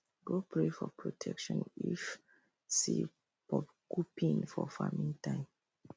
go pray for protection if see porcupine for farming time